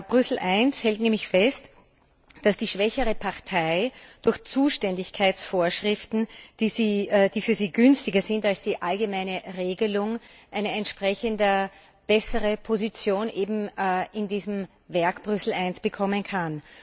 Brüssel I hält nämlich fest, dass die schwächere Partei durch Zuständigkeitsvorschriften, die für sie günstiger sind als die allgemeine Regelung, eine entsprechend bessere Position eben in diesem Werk Brüssel I bekommen kann.